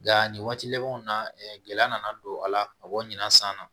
Nka nin waati labanw na gɛlɛya nana don a la ka bɔ ɲina san na